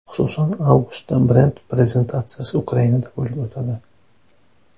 Xususan, avgustda brend prezentatsiyasi Ukrainada bo‘lib o‘tadi.